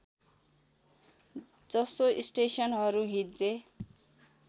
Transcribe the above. जसो स्टेसनहरू हिज्जे